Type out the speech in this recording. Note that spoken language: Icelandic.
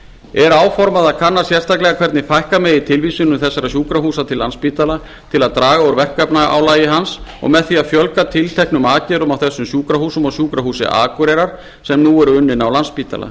er áformað að kanna sérstaklega hvernig fækka megi tilvísunum þessara sjúkrahúsa til landspítala til að draga úr verkefnaálagi hans og með því að fjölga tilteknum aðgerðum á þessum sjúkrahúsum og sjúkrahúsi akureyrar sem nú eru unnin á landspítala